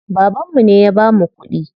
Babanmu ne ya bamu kuɗi.